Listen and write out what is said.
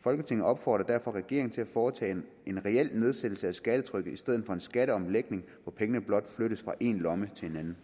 folketinget opfordrer derfor regeringen til at foretage en reel nedsættelse af skattetrykket i stedet for en skatteomlægning hvor pengene blot flyttes fra én lomme til en